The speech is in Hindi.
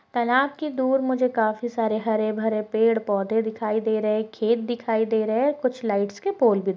तालाब के दूर मुझे काफी सारे हरे -भरे पेड़ पौधे दिखाई दे रहे है खेत दिखाई दे रहे है कुछ लाईट्स के पोल --